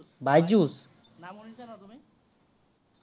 শুনিছা ন' তুমি?